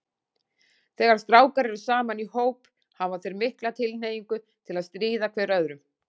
Þegar strákar eru saman í hóp, hafa þeir mikla tilhneigingu til að stríða hver öðrum.